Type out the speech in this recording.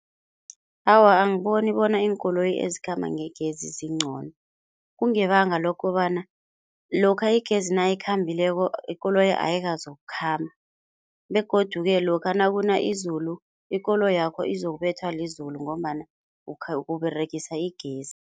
Awa, angiboni bona iinkoloyi ezikhamba ngegezi zingcono kungebanga lokobana lokha igezi nayikhambileko, ikoloyi ayikazokukhamba begodu-ke lokha nakuna izulu ikoloyakho izokubethwa lizulu ngombana uberegisa igezi.